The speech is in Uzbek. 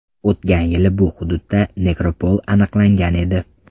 O‘tgan yili bu hududda nekropol aniqlangan edi.